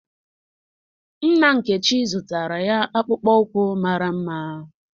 Nna Nkechi zụtara ya akpụkpọ ụkwụ mara mma.